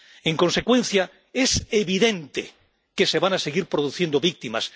En consecuencia, es evidente que se van a seguir produciendo víctimas.